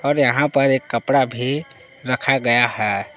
और यहां पर एक कपड़ा भी रखा गया है।